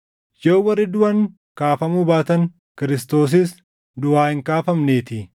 Yoo warri duʼan kaafamuu baatan, Kiristoosis duʼaa hin kaafamneetii.